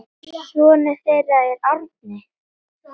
Sonur þeirra er Árni.